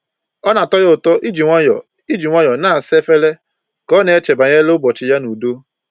Ọ na-atọ ya ụtọ iji nwayọọ iji nwayọọ na-asa efere ka ọ na-eche banyere ụbọchị ya n'udo